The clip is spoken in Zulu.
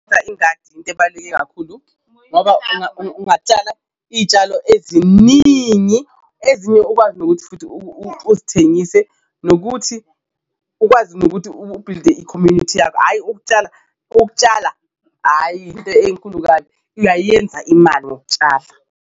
Ingadi into ebaluleke kakhulu ngoba ungatshala iy'tshalo eziningi ezinye ukwazi nokuthi futhi uzithengise, nokuthi ukwazi nokuthi u-build-e i-community yakho ayi ukutshala, ukutshala ayi into enkulu kabi uyayenza imali ngokutshala.